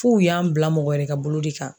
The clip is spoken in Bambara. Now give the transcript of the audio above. F'u y'an bila mɔgɔ wɛrɛ ka bolo de kan.